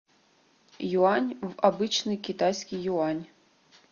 юань в обычный китайский юань